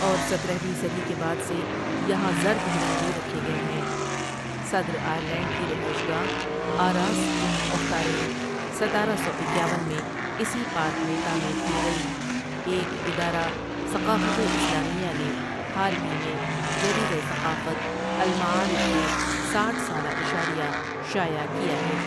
اور سترہویں صدی کے بعد سے یہاں زرد ہرن بھی رکھے گٮۓ ہیں صدر آئرلینڈ کی رہائش گاہ آراس ان اوختارین ستارہ سو اکیاون میں اسی پارک میں تعمیر کی گئی ایک ادارہ ثقافتِ اسلامیہ نے حال ہی میں جریدہ ثقافت؍المعارف کے ساٹھ سالہ اشاریہ شائع کیا ہے ۔